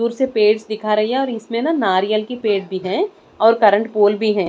दूर से पेड़ दिखा रही है इसमें न नारियल के पेड़ भी हैं और करंट पोल भी है।